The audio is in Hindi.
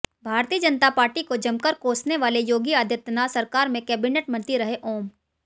भारतीय जनता पार्टी को जमकर कोसने वाले योगी आदित्यनाथ सरकार में कैबिनेट मंत्री रहे ओम